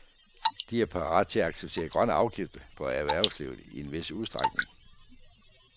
De er parat til at acceptere grønne afgifter på erhvervslivet i en vis udstrækning.